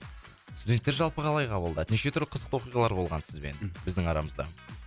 студенттер жалпы қалай қабылдады неше түрлі қызықты оқиғалар болған сізбен мхм біздің арамызда